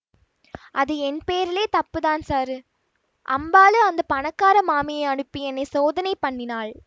அது என் பேரிலே தப்பு தான் சாரு அம்பாள் அந்த பணக்கார மாமியை அனுப்பி என்னை சோதனை பண்ணினாள்